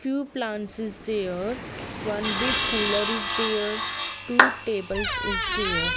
few plants is there one big cooler is there two tables is there.